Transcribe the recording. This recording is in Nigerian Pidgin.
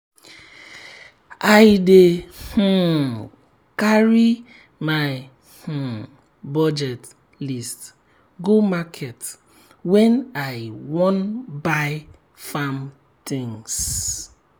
i dey um carry my um budget list go market when i wan buy farm things.